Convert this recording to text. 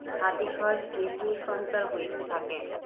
সাতিশয় স্নেহসঞ্চার হইতে থাকে।